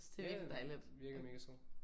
Ja ja virker mega sød